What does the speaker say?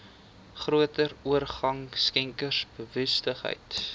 groter orgaan skenkersbewustheid